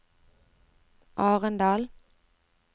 Arendal